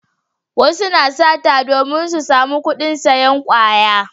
Wasu na sata domin su samu kudin sayan kwaya